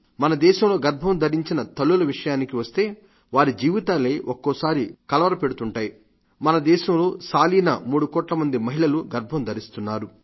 మన దేశంలో గర్భం ధరించిన తల్లుల విషయానికి వస్తే వారి జీవితాలే ఒక్కోసారి కలవరపెడుతుంటాయి మన దేశంలో సాలీన మూడు కోట్ల మంది మహిళలు గర్భం ధరిస్తున్నారు